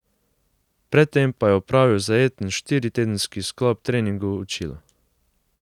Pred tem pa je opravil zajeten štiritedenski sklop treningov v Čilu.